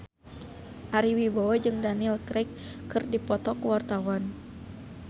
Ari Wibowo jeung Daniel Craig keur dipoto ku wartawan